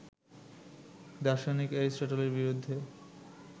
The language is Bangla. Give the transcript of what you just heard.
দার্শনিক এরিস্টটলের বিরুদ্ধে